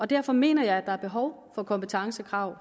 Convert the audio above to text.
derfor mener jeg at der er behov for kompetencekrav